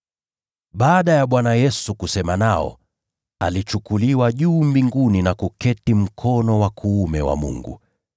Baada ya Bwana Yesu kusema nao, alichukuliwa juu mbinguni na kuketi mkono wa kuume wa Mungu.